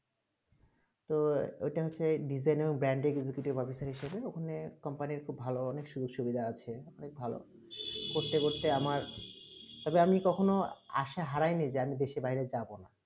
তো ঐই তা হচ্ছেই design এ ban এ kit ওখানে company খুব ভালো অনেক সুবিধা আছে অনেক ভালো করতে করতে আমার তার পরে আমি কখন আশয়ে হারায় নি জানি আমি দেশে বাইরে যাবো না